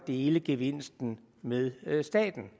dele gevinsten med staten